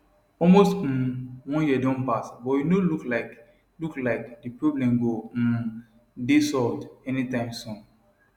almost um one year don pass but e no look like look like di problem go um dey solved anytime soon